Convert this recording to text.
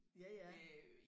Ja ja